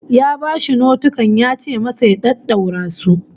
Ya bashi notikan yace masa ya daddaura su